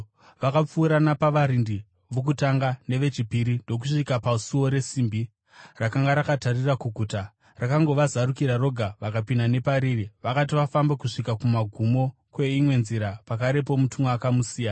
Vakapfuura napavarindi vokutanga nevechipiri ndokusvika pasuo resimbi rakanga rakatarira kuguta. Rakangovazarukira roga, vakapinda nepariri. Vakati vafamba kusvika kumagumo kweimwe nzira, pakarepo mutumwa akamusiya.